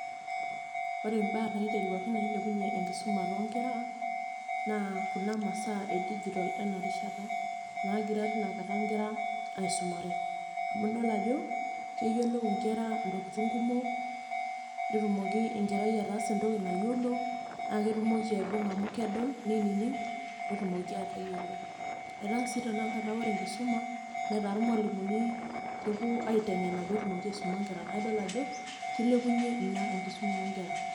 Ore imbaa naiteruaki nailepunye enkisuma tonkera, naa kuna masaa edijitol enarishata. Nagira tinakata nkera aisumare. Amu idol ajo, keyiolou inkera intokiting kumok, netumoki enkerai ataasa entoki nayiolo, na ketumoki aibung'a amu kedol, ninining',netumoki atayiolo. Etaa si tanakata ore enkisuma, netaa irmualimuni kepuo aiteng'ena petumoki aisuma nkera. Na idol ajo, kilepunye ina enkisuma onkera.